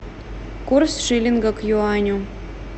курс шиллинга к юаню